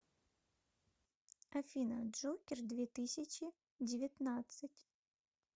афина джокер две тысячи девятнадцать